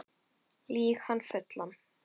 Lýg hann fullan